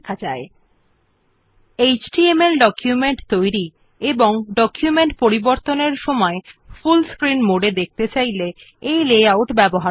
this is useful when you want to create HTML documents as well as when you want to view the document in full screen mode for editing them